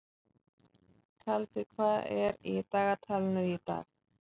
Kaldi, hvað er í dagatalinu í dag?